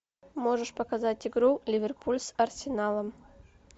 можешь показать игру ливерпуль с арсеналом